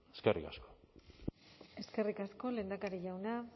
eskerrik asko eskerrik asko lehendakari jauna